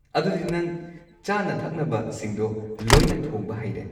ꯑꯗꯨꯗꯤ ꯅꯪ ꯆꯥꯅ ꯊꯛꯅꯕꯁꯤꯡꯗꯣ ꯂꯣꯏꯅ ꯊꯣꯡꯕ ꯍꯩꯔꯦ?